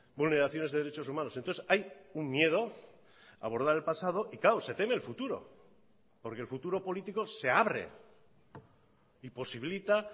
vulneraciones de derechos humanos entonces hay un miedo a abordar el pasado y claro se teme el futuro porque el futuro político se abre y posibilita